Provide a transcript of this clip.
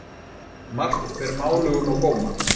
Margt ber málugum á góma.